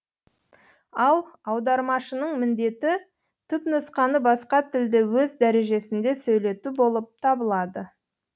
ал аудармашының міндеті түпнұсқаны басқа тілде өз дәрежесінде сөйлету болып табылады